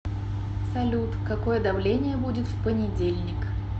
салют какое давление будет в понедельник